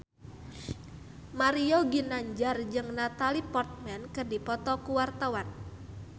Mario Ginanjar jeung Natalie Portman keur dipoto ku wartawan